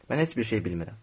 Mən heç bir şey bilmirəm.